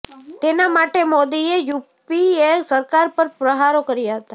તેના માટે મોદીએ યુપીએ સરકાર પર પ્રહારો કર્યા હતા